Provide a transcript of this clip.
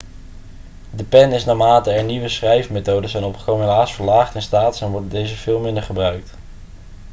de pen is naarmate er nieuwere schrijfmethoden zijn opgekomen helaas verlaagd in status en wordt deze veel minder gebruikt